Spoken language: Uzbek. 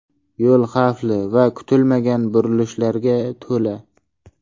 Yo‘l xavfli va kutilmagan burilishlarga to‘la.